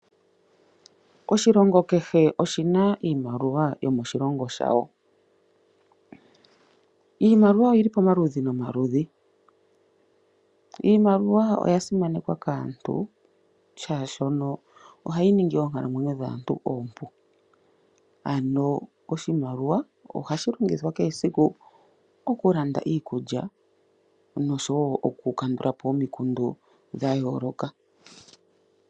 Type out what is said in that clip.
Oshilongo kehe oshina iimaliwa yomoshilongo shawo. Iimaliwa oyili pomaludhi nomaludhi. Iimaliwa oya simanekwa kaantu shaashoka ohayi ningi oonkalamwenyo dhaantu oompu. Ano oshimaliwa ohashi longithwa kehe esiku okulanda iikulya nosho wo okukandulapo omikundu dhayooloka.